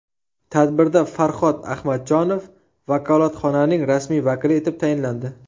Tadbirda Farhod Ahmadjonov vakolatxonaning rasmiy vakili etib tayinlandi.